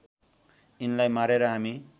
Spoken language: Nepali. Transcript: यिनलाई मारेर हामी